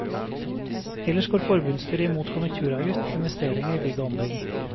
Ellers går forbundsstyret imot konjunkturavgift på investeringer i bygg og anlegg.